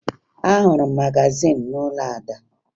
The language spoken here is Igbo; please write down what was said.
Ahụrụ m magazin n'ụlọ Ada